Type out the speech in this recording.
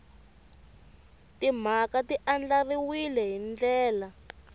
timhaka ti andlariwile hi ndlela